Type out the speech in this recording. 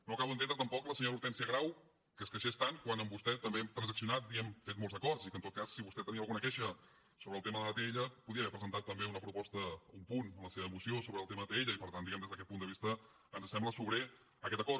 no acabo d’entendre tampoc la senyora hortènsia grau que es queixés tant quan amb vostè també hem transaccionat i hem fet molts acords i que en tot cas si vostè tenia alguna queixa sobre el tema de l’atll podia haver presentat també una proposta un punt en la seva moció sobre el tema atll i per tant diguem ne des d’aquest punt de vista ens sembla sobrer aquest acord